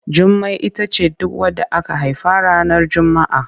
Jummai ita ce duk wadda aka haifa ranar Juma'a.